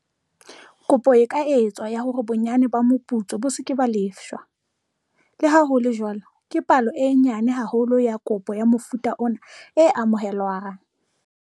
Kopo e ka etswa ya hore bonyane ba moputso bo se ke ba lefshwa. Le ha ho le jwalo, ke palo e nyane haholo ya kopo ya mofuta ona e amohelwang.